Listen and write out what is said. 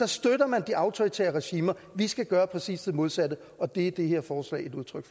støtter man de autoritære regimer vi skal gøre præcis det modsatte og det er det her forslag et udtryk